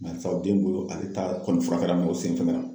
Barisa den bolo ale ta kɔni furakɛ la o sen fɛnkɛra.